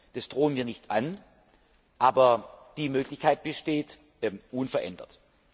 Das drohen wir nicht an, aber die Möglichkeit besteht unverändert.